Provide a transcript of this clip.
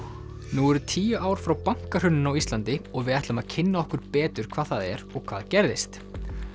nú eru tíu ár frá bankahruninu á Íslandi og við ætlum að kynna okkur betur hvað það er og hvað gerðist